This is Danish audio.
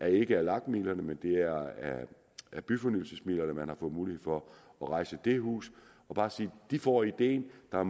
ikke er af lag midlerne men at det er af byfornyelsesmidlerne man har fået mulighed for at rejse det hus og bare sige de får ideen der er